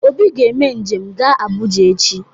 Obi ga-eme njem ga Abụja echi.